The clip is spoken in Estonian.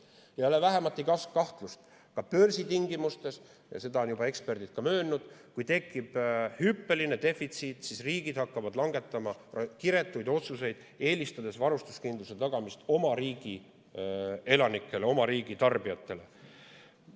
Ei ole vähematki kahtlust: ka börsitingimustes – seda on juba eksperdid möönnud –, kui tekib hüppeline defitsiit, siis riigid hakkavad langetama kiretuid otsuseid, eelistades varustuskindluse tagamist oma riigi elanikele, oma riigi tarbijatele.